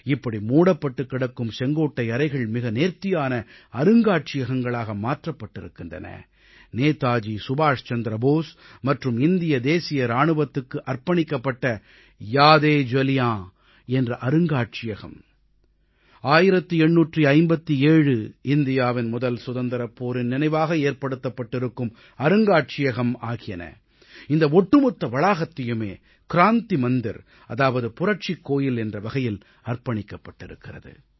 இப்படி மூடப்பட்டுக் கிடக்கும் செங்கோட்டை அறைகள் மிக நேர்த்தியான அருங்காட்சியகங்களாக மாற்றப்பட்டிருக்கின்றன நேதாஜி சுபாஷ் சந்திர போஸ் மற்றும் இந்திய தேசிய இராணுவத்துக்கு அர்ப்பணிக்கப்பட்ட யாத் ஏ ஜலியான் என்ற அருங்காட்சியகம் 1857 இந்தியாவின் முதல் சுதந்திரப் போரின் நினைவாக ஏற்படுத்தப்பட்டிருக்கும் அருங்காட்சியகம் ஆகியன இந்த ஒட்டுமொத்த வளாகத்தையுமே க்ராந்தி மந்திர் அதாவது புரட்சிக் கோயில் என்ற வகையில் அர்ப்பணிக்கப்பட்டிருக்கிறது